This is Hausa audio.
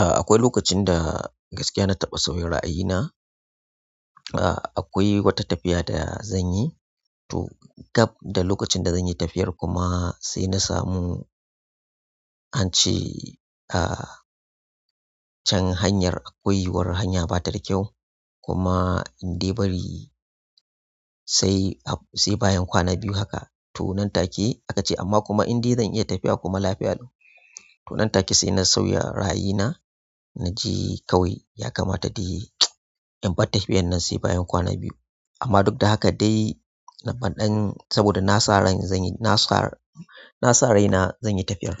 A'a akwai lokacin da gaskiya na taɓa sauya ra'ayi na. Akwai wata tafiya da zan yi to gab da lokacin da zan yi tafiyar kuma sai na samu ance can hanyar akwai wata hanya ba ta da kyau kuma in dai bari sai bayan kwana biyu haka to nan take aka ce amma kuma in dai zan iya tafiya kuma lafiya dole to nan take sai na sauya ra'ayi na na je kawai ya kamata dai in bar tafiyar nan sai bayan kwana biyu. Amma duk da haka dai na banɗan saboda na sa ran zan yi na sa na sa raina zan yi tafiyar